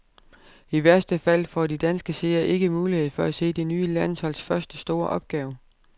I værste fald får de danske seere ikke mulighed for at se det nye landsholds første store opgave.